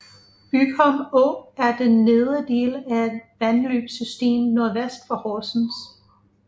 Bygholm Å er den nedre del af et vandløbssystem nordvest for Horsens